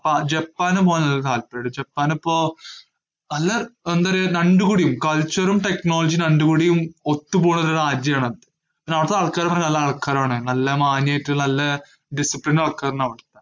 ആഹ് ജപ്പാന് പോവാന് ഒരു താല്പര്യയിണ്ട്, ജപ്പാനിപ്പോ നല്ല എന്താ ഒര് രണ്ടും കൂടിയും culture ഉം technology യും രണ്ടും കൂടിയും ഒത്തു പോണൊരു ഒരു രാജ്യാണത്. പിന്നെ അവിടത്ത ആൾക്കാരൊക്കെ നല്ല ആൾക്കാരാണ്. നല്ല മാന്യായിട്ട് നല്ല discipline ആൾക്കാരാണവിടെ.